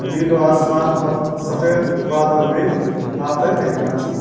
नीलू आसमान और सफेद बादल बि आपथे दिखेंणा छिन।